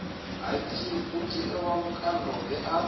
u dzhielwa vhukando nge a